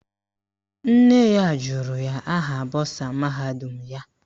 Nne ya jụrụ ya aha bọsa mahadum ya.